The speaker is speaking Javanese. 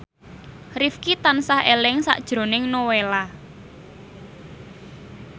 Rifqi tansah eling sakjroning Nowela